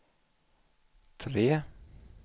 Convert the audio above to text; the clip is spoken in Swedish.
tre